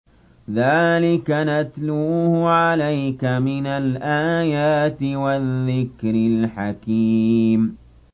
ذَٰلِكَ نَتْلُوهُ عَلَيْكَ مِنَ الْآيَاتِ وَالذِّكْرِ الْحَكِيمِ